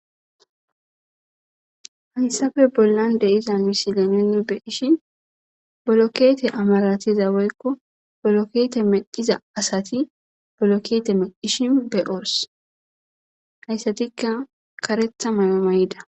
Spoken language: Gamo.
Haysape bollan de'iza misile nuni be'ishin bolokete amaratiza woyko bolokete medhiza asati bolokete medhishin be'os haysatika karetha mayo mayida qq